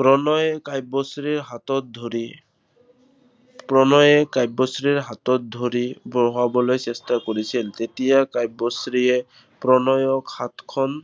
প্ৰণয়ে কাব্যশ্ৰীৰ হাতত ধৰি প্ৰণয়ে কাব্যশ্ৰীৰ হাতত ধৰি বহুৱাবলৈ চেষ্টা কৰিছিল। তেতিয়া কাব্যশ্ৰীয়ে প্ৰণয়ক হাতখন